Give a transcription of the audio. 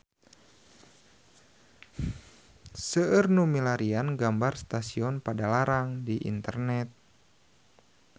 Seueur nu milarian gambar Stasiun Padalarang di internet